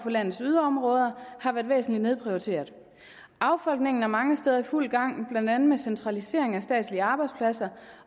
landets yderområder har været væsentlig nedprioriteret affolkningen er mange steder i fuld gang blandt andet med centralisering af statslige arbejdspladser